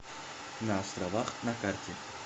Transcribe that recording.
на островах на карте